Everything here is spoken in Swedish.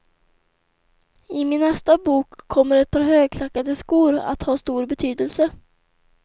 I min nästa bok kommer ett par högklackade skor att ha stor betydelse.